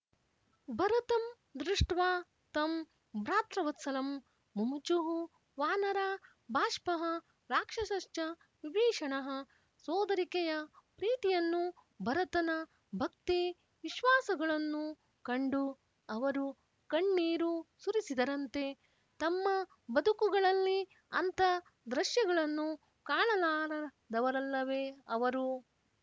ಭರತಂ ದೃಶ್ಟವಾ ತಂ ಭ್ರಾತೃವತ್ಸಲಂ ಮುಮುಚುಃ ವಾನರಾ ಬಾಷ್ಪಃ ರಾಕ್ಷಸಶ್ಚ ವಿಭೀಷಣಃ ಸೋದರಿಕೆಯ ಪ್ರೀತಿಯನ್ನೂ ಭರತನ ಭಕ್ತಿ ವಿಶ್ವಾಸಗಳನ್ನೂ ಕಂಡು ಅವರು ಕಣ್ಣೀರು ಸುರಿಸಿದರಂತೆ ತಮ್ಮ ಬದುಕುಗಳಲ್ಲಿ ಅಂಥ ದೃಶ್ಯಗಳನ್ನು ಕಾಣಲಾರದವರಲ್ಲವೆ ಅವರು